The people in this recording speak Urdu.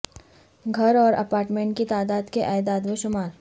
گھر اور اپارٹمنٹ کی تعداد کے اعداد و شمار